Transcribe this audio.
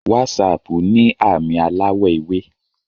Wásáápu ni aami alawọ ewe